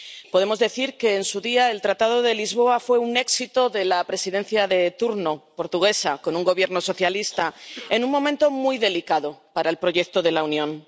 Podemos decir que, en su día, el Tratado de Lisboa fue un éxito de la Presidencia de turno portuguesa, con un Gobierno socialista, en un momento muy delicado para el proyecto de la Unión.